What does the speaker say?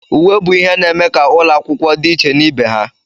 Uwe bụ ihe na-eme ka ụlọ akwụkwọ dị iche na ibe ha.